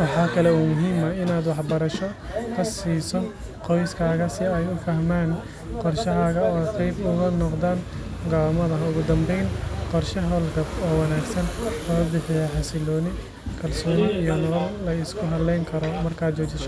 waxaa muhiim ah in aad qoskaga siso wax barasho si ee u fahman qorshahaga, ogu dan ben qorsha holgab xasiloni iyo kalsoni lasku haleyni karo.